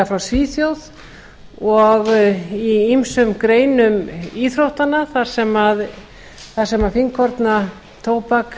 frá svíþjóð og í ýmsum greinum íþróttanna þar sem fínkorna tóbak